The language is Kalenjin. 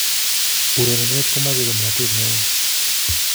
urerenet komache ngomnotet neo